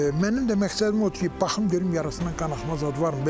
Mənim də məqsədim odur ki, baxım görüm yarasına qanaxma zad varmı?